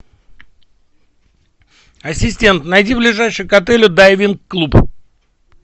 ассистент найди ближайший к отелю дайвинг клуб